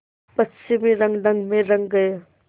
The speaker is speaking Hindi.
पश्चिमी रंगढंग में रंग गए